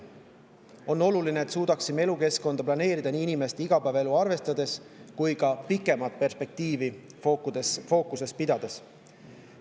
On oluline, et suudaksime elukeskkonda planeerida nii inimeste igapäevaelu arvestades kui ka pikemat perspektiivi fookuses hoides.